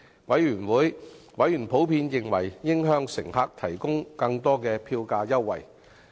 委員普遍認為應向乘客提供更多票價優惠。